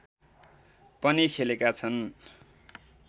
पनि खेलेका छन